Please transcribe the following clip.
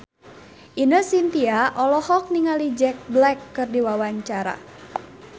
Ine Shintya olohok ningali Jack Black keur diwawancara